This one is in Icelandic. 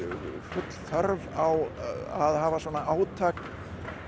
full þörf á að hafa svona átak